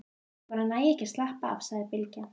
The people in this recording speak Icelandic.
Ég bara næ ekki að slappa af, sagði Bylgja.